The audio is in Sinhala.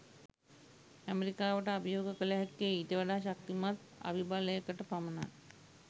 ඇමරිකාවට අභියෝග කල හැක්කේ ඊට වඩා ශක්තිමත් අවිබලයකට පමණයි